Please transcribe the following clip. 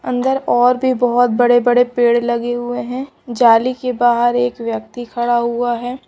अंदर और भी बहुत बड़े-बड़े पेड़ लगे हुए हैं जाली के बाहर एक व्यक्ति खड़ा हुआ है।